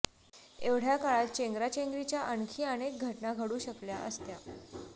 एवढ्या काळात चेंगराचेंगरीच्या आणखी अनेक घटना घडू शकल्या असत्या